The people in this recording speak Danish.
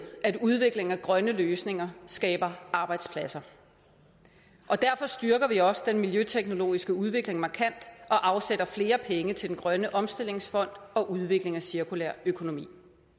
at udvikling af grønne løsninger skaber arbejdspladser og derfor styrker vi også den miljøteknologiske udvikling markant og afsætter flere penge til grøn omstillingsfond og udvikling af cirkulær økonomi